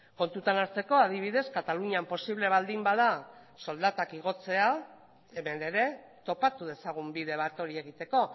kontutan hartzeko adibidez katalunian posible baldin bada soldatak igotzea hemen ere topatu dezagun bide bat hori egiteko